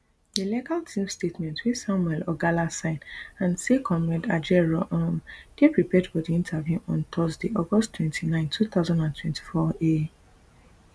di legal team statement wey samuel ogala sign add say comrade ajaero um dey prepared for di interview on thursday august twenty-nine two thousand and twenty-four um